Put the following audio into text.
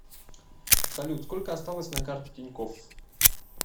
салют сколько осталось на карте тинькофф